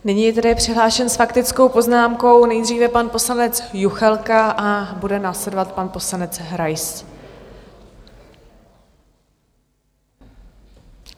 Nyní je tedy přihlášen s faktickou poznámkou nejdříve pan poslanec Juchelka a bude následovat pan poslanec Rais.